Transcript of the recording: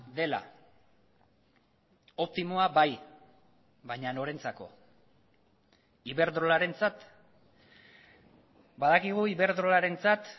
dela optimoa bai baina norentzako iberdrolarentzat badakigu iberdrolarentzat